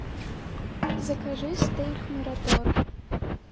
закажи стейк мираторг